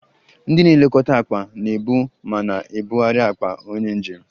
Ndị na-elekọta akpa na-ebu ma na-ebugharị akpa onye njem